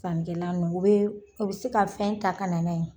Sannikɛla u be se ka fɛn ta ka na na ye.